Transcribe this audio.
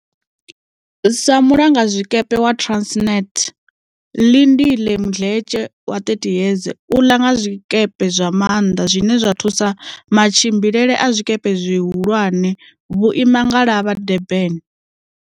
Sa mulanga zwikepe wa Transnet Lindile Mdletshe wa 30 yeze u la nga zwikepe zwa maanḓa zwine zwa thusa matshi mbilele a zwikepe zwihu lwane vhuimangalavha Durban.